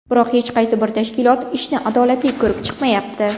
Biroq hech qaysi bir tashkilot ishni adolatli ko‘rib chiqmayapti.